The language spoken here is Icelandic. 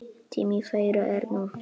Tími þeirra er nú.